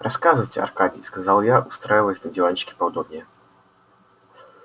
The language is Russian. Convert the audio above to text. рассказывайте аркадий сказал я устраиваясь на диванчике поудобнее